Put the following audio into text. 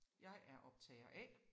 Jeg er optager A